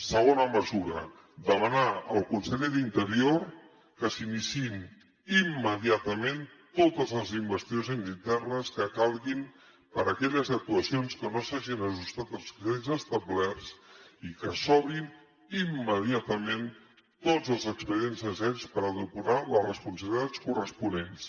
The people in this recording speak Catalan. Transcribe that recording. segona mesura demanar al conseller d’interior que s’iniciïn immediatament totes les investigacions internes que calguin per a aquelles actuacions que no s’hagin ajustat als criteris establerts i que s’obrin immediatament tots els expedients necessaris per depurar les responsabilitats corresponents